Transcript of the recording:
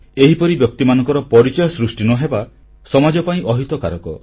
ଏହିପରି ବ୍ୟକ୍ତିମାନଙ୍କର ପରିଚୟ ସୃଷ୍ଟି ନ ହେବା ସମାଜ ପାଇଁ ଅହିତକର